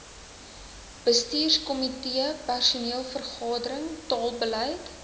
bestuurskomitee personeelvergadering taalbeleid